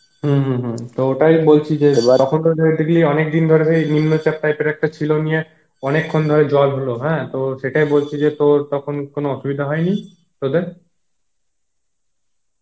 হম হম তো ওটাই বলছি যে অনেকদিন ধরে নিম্ন চপ type এর একটা ছিল, নিয়ে অনেকক্ষণ ধরে জল হলো হ্যাঁ তো সেটাই বলছি যে তো তখন কোনো অসুবিধা হয়েনি তদের?